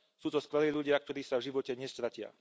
Sú to skvelí ľudia, ktorí sa v živote nestratia.